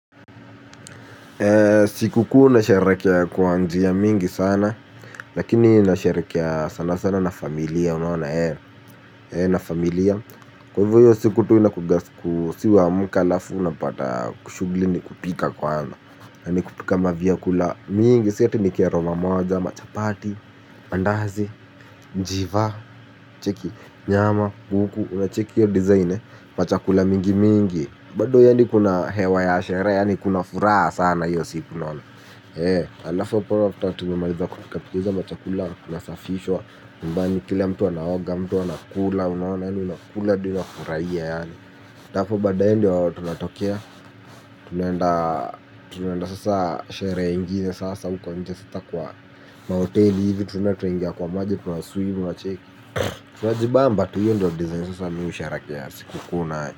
Sikukuu nasherehekea kwa njia mingi sana, lakini nasherehekea sana sana na familia, unaona eh, eh na familia. Kwa hivyo hiyo siku tu inakuaga siku si huamka halafu unapata shughuli ni kupika kwanza. Yani kupika mavyakula mingi, siati nikia roma moja, machapati, mandazi, njiva, cheki, nyama, kuku, unacheki hiyo design, machakula mingi mingi. Bado yanii kuna hewa ya sherehe, yani kuna furaha sana hiyo siku unaona halafu apo after tumemaliza kupika hizo machakula kunasafishwa bali kila mtu anaoga, mtu anakula, unaona yani, unakula hadi unafurahia yaani na hapo badae ndio tunatokea, tunaenda sasa sherehe ingine sasa uko nje sasa kwa mahoteli hivi tunaenda tunaingia kwa maji tuna swim unacheki. Tunajibamba tu hiyo ndio design sasa mi shereherekea sikuu nayo.